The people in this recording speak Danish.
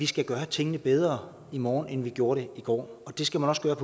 skal gøre tingene bedre i morgen end man har gjort i går og det skal man også gøre